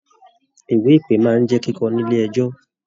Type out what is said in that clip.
Ìwé ìpe máa n jẹ kíkọ nílé ẹjọ.